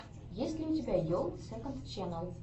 есть ли у тебя йолл сэконд ченнал